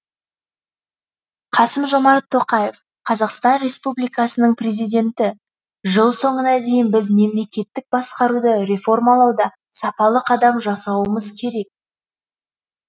қасым жомарт тоқаев қазақстан республикасының президенті жыл соңына дейін біз мемлекеттік басқаруды реформалауда сапалы қадам жасауымыз керек